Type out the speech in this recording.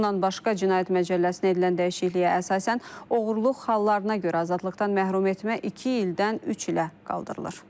Bundan başqa Cinayət Məcəlləsinə edilən dəyişikliyə əsasən oğurluq hallarına görə azadlıqdan məhrumetmə iki ildən üç ilə qaldırılır.